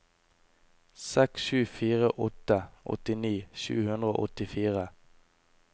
seks sju fire åtte åttini sju hundre og åttifire